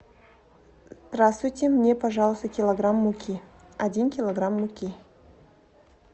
здравствуйте мне пожалуйста килограмм муки один килограмм муки